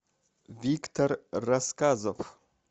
виктор рассказов